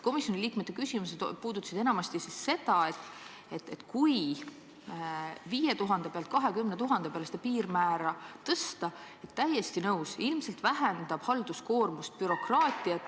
Komisjoni liikmete küsimused puudutasid enamasti seda, et kui piirmäär tõsta 5000 euro pealt 20 000 euro peale, siis – täiesti nõus – ilmselt väheneb halduskoormus, bürokraatia.